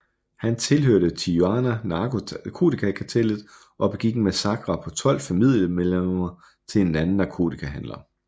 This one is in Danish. Han tilhørte Tijuana narkotikakartellet og begik en massakre på tolv familiemedlemmer til en anden narkotikahandler